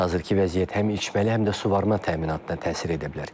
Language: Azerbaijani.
Hazırki vəziyyət həm içməli, həm də suvarma təminatına təsir edə bilər.